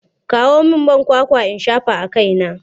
Kawo min man kwakwa in shafa a kaina!